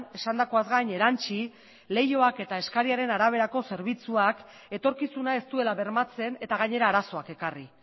esandakoaz gain erantzi leihoak eta eskariaren araberako zerbitzuak etorkizuna ez duela bermatzen eta gainera arazoak ekarri